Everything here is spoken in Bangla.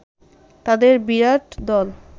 তাদের বিরাট দল